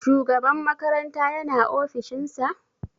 Shugaba makaranta yana ofishin sa?